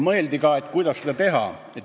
Mõeldi ka, kuidas seda teha.